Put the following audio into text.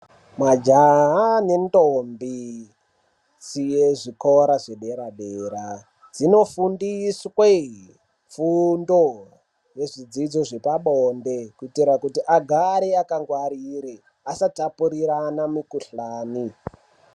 Majaha nendombi siye zvikora zvepadera-dera dzinofundiswe fundo dzezvidzidzo zvepabonde kuitira kuti agare akangwarire asatapurirana mikhuhlani.